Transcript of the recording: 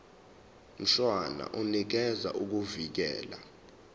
mshwana unikeza ukuvikelwa